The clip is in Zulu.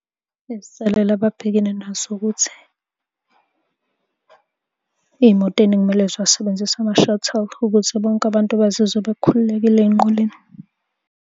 Izinselele ababhekene nazo ukuthi iy'moto ey'ningi kumele ziwasebenzise ama-shuttle ukuze bonke abantu bazizwe bekhululekile ey'nqoleni.